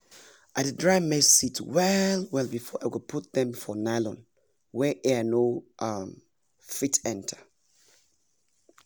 i dey dry my maize seeds well well before i go put dem for nylon wey air no um fit enter